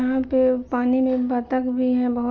यहां पे पानी में बत्तख भी है बोहोत ।